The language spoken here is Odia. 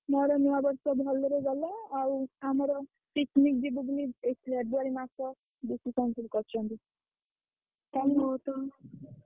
ମୋର ଏଇ ନୂଆ ବର୍ଷ ଭଲରେ ଗଲା ଆଉ ଆମର picnic ଯିବୁ ବୋଲି ଏଇ February ମାସ ସବୁ ଠିକ୍‌ କରିଛନ୍ତି।